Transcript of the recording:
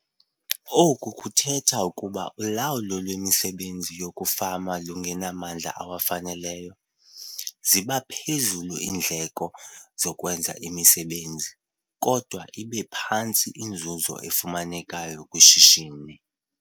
Oku kuthetha ukuba xa ulawulo lwemisebenzi yokufama lungenamandla awaneleyo, ziba phezulu iindleko zokwenza imisebenzi, kodwa ibe phantsi inzuzo efumaneka kwishishini.